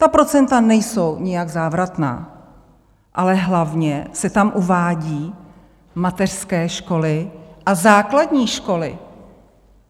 Ta procenta nejsou nijak závratná, ale hlavně se tam uvádějí mateřské školy a základní školy.